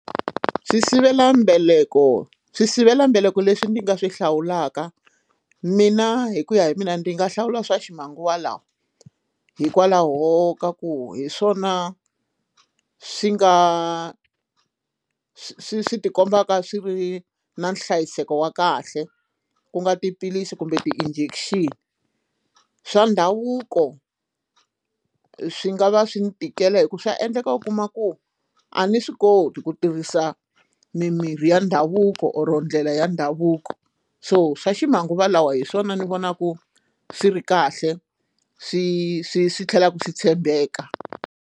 Swisivelambeleko swisivelambeleko leswi ni nga swi hlawulaka mina hi ku ya hi mina ndzi nga hlawula swa ximanguva lawa hikwalaho ka ku hi swona swi nga swi ti kombaka swi ri na nhlayiseko wa kahle ku nga tiphilisi kumbe ti-injection swa ndhavuko swi nga va swi ni tikela hikuva swa endleka u kuma ku a ni swi koti ku tirhisa mimirhi ya ndhavuko or ndlela ya ndhavuko so swa ximanguva lawa hi swona ni vonaku swi ri kahle swi swi swi tlhelaka swi tshembeka.